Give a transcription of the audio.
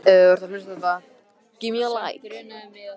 Gunndór, bókaðu hring í golf á föstudaginn.